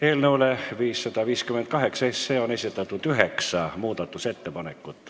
Eelnõu 558 kohta on esitatud üheksa muudatusettepanekut.